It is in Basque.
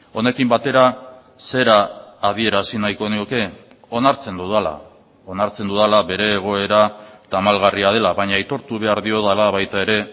honekin batera zera adierazi nahiko nioke onartzen dudala onartzen dudala bere egoera tamalgarria dela baina aitortu behar diodala baita ere